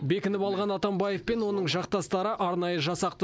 бекініп алған атамбаев пен оның жақтастары арнайы жасақты